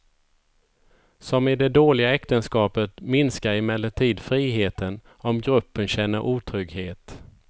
Som i det dåliga äktenskapet minskar emellertid friheten om gruppen känner otrygghet.